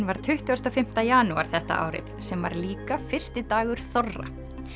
var tuttugasta og fimmta janúar þetta árið sem var líka fyrsti dagur þorra